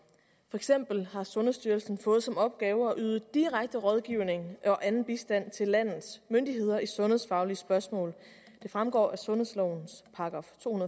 eksempel har sundhedsstyrelsen fået som opgave at yde direkte rådgivning og anden bistand til landets myndigheder i sundhedsfaglige spørgsmål det fremgår af sundhedslovens § to